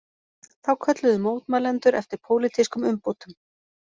Þá kölluðu mótmælendur eftir pólitískum umbótum